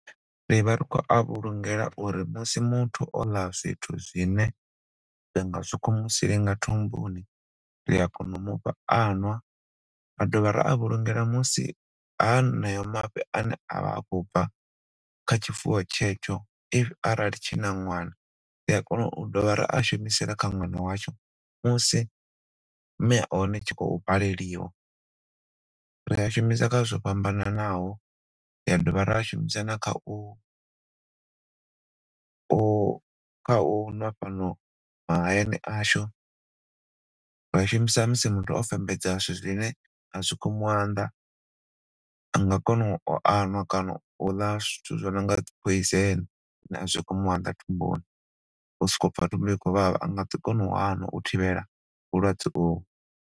Ri vha ri khou vhulungea uri musi muthu o ḽa zwithu zwine zwa nga sokou mu silinga thumbuni ri a kona u mufha anwa ra do vha ra a vhulungela musi haneyo mafhi ane avha a khou bva kha tshifuwo tshetsho if arali tshina ṅwana ri a kona u dovha ra a shumisela kha ṅwana watsho musi mme a hone tshi khou baleliwa. Ri a shumisa kha zwithu zwo fhambananaho, ra dovha ra a shumisa na khau, khau ṅwa fhano mahayani ashu, ra a shumisa musi muthu o fembedza zwithu zwine a zwi khou mu anḓa a nga kona u a ṅwa kana u ḽa zwithu zwino nga poison khou mu anḓa thumbuni so kou pfa thumbu i khou vhavha a nga ḓi kona u a ṅwa u thivhela vhulwadze uvho.